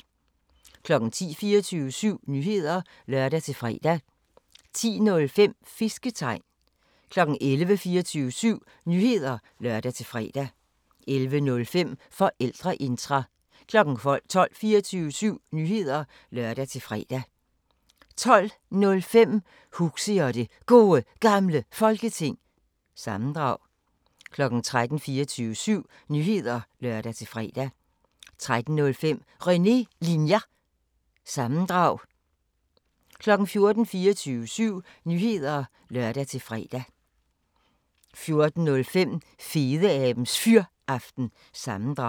10:00: 24syv Nyheder (lør-fre) 10:05: Fisketegn 11:00: 24syv Nyheder (lør-fre) 11:05: Forældreintra 12:00: 24syv Nyheder (lør-fre) 12:05: Huxi og det Gode Gamle Folketing – sammendrag 13:00: 24syv Nyheder (lør-fre) 13:05: René Linjer- sammendrag 14:00: 24syv Nyheder (lør-fre) 14:05: Fedeabes Fyraften – sammendrag